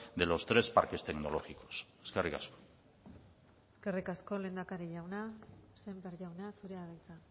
de los tres parques tecnológicos eskerrik asko eskerrik asko lehendakari jauna sémper jauna zurea da hitza